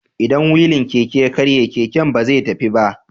Idan wilin Keke ya karye, keken ba zai tafi ba.